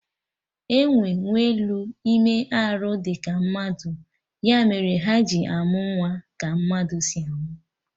Enwee nwelụ ime arụ dị ka mmadụ, ya mere ha ji amụ nwa ka mmadụ si amụ